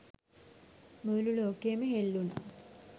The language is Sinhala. මුළු ලෝකයම හෙල්ලුනා